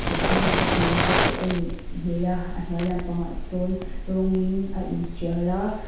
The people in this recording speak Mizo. coconut kung te pawh a nih hmel a a hnuai lampangah sawn rawng in a intial a.